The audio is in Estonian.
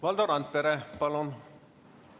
Valdo Randpere, palun!